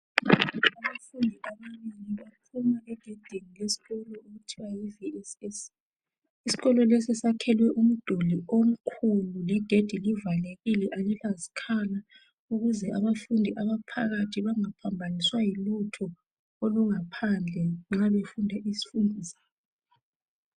Isikolo okuthiwa yi VSS. Isikolo lesi sakhelwe umduli omkhulu legedi livalekile alilazikhala ukuze abafundi abaphakathi bangaphambaniswa yilutho oluphandle nxa befunda izifundo zabo.